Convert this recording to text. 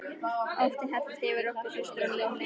Óttinn helltist yfir okkur systur á nýjan leik.